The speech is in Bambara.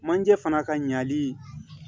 Manje fana ka ɲali